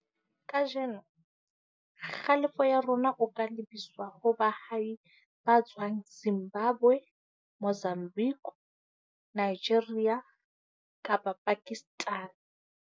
Kajeno, kgalefo ya rona o ka lebiswa ho baahi ba tswang Zimbabwe, Mozambique, Nigeria kapa Pakistan.